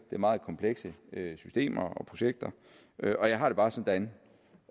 meget komplekse systemer og projekter og jeg har det bare sådan